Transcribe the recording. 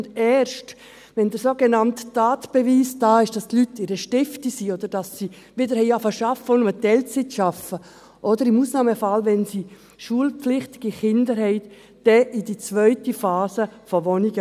Und erst, wenn der sogenannte Tatbeweis da ist, dass die Leute in einer «Stifti» sind, oder dass sie wieder begonnen haben, zu arbeiten, auch nur in Teilzeit, oder, im Ausnahmefall, wenn sie schulpflichtige Kinder haben, dann kommen sie in die zweite Phase von Wohnungen.